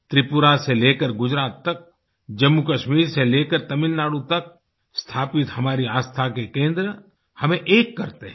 त्रिपुरा से ले कर गुजरात तक जम्मूकश्मीर से लेकर तमिलनाडु तक स्थापित हमारे आस्था के केंद्र हमें एक करते हैं